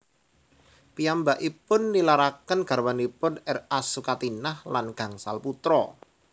Piyambakipun nilaraken garwanipun R A Sukatinah lan gangsal putra